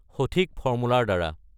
সঠিক ফৰ্মুলাৰ দ্বাৰা